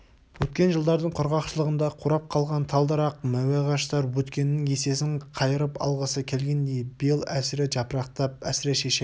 өткен жылдардың құрғақшылығында қурап қалған тал-дарақ мәуе ағаштар өткеннің есесін қайырып алғысы келгендей биыл әсіре жапырақтап әсіре шешек